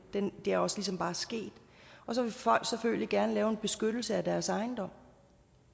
er også ligesom bare sket så vil folk selvfølgelig gerne lave en beskyttelse af deres ejendom